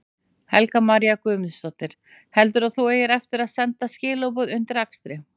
Helga María Guðmundsdóttir: Heldurðu að þú eigir eftir að senda skilaboð undir akstri?